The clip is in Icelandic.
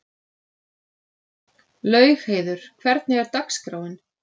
Laugheiður, hvernig er dagskráin?